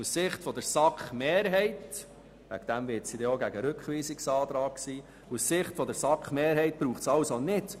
Aus Sicht der SAK-Mehrheit braucht es keinen grundsätzlichen Systemwechsel oder ein Zurückgehen auf Feld eins.